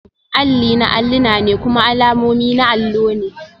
Alli na alluna ne kuma alamomi na allo ne